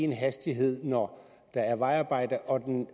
én hastighed når der er vejarbejde og en